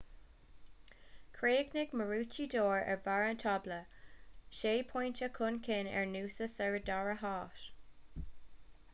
chríochnaigh maroochydore ar bharr an tábla sé phointe chun cinn ar noosa sa dara háit